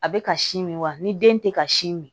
A bɛ ka sin min wa ni den tɛ ka sin min